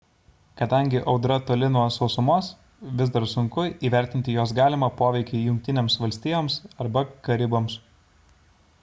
kadangi audra toli nuo sausumos vis dar sunku įvertinti jos galimą poveikį jungtinėms valstijoms arba karibams